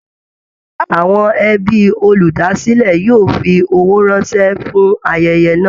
Àwọn ẹbí olúdásílẹ̀ yóò fi owó ránṣẹ́ fún ayẹyẹ náà